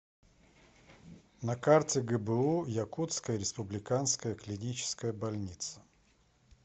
на карте гбу якутская республиканская клиническая больница